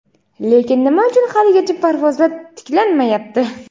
Lekin nima uchun haligacha parvozlar tiklanmayapti?.